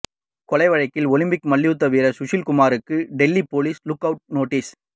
கொலை வழக்கில் ஒலிம்பிக் மல்யுத்த வீரர் சுஷில் குமாருக்கு Delhi police look out notice